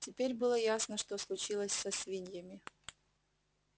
теперь было ясно что случилось со свиньями